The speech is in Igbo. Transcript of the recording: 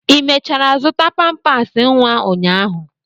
ị mechara zụta pampasị nwa ụnyaahụ?